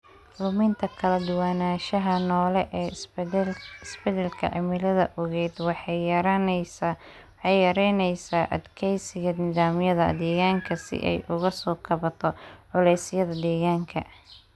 Luminta kala duwanaanshaha noole ee isbeddelka cimilada awgeed waxay yaraynaysaa adkeysiga nidaamyada deegaanka si ay uga soo kabato culaysyada deegaanka.